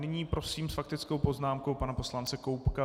Nyní prosím s faktickou poznámkou pana poslance Koubka.